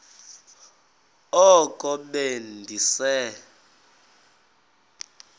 oko be ndise